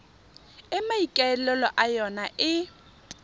e maikaelelo a yona e